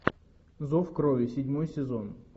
зов крови седьмой сезон